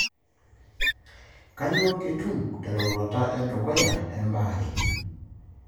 Kanyioo kitum te roruata edukuya embaare.